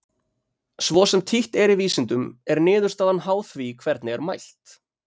svo sem títt er í vísindum er niðurstaðan háð því hvernig er mælt